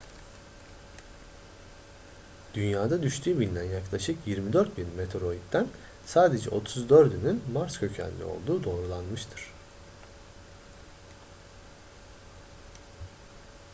dünyaya düştüğü bilinen yaklaşık 24.000 meteoritten sadece 34'ünün mars kökenli olduğu doğrulanmıştır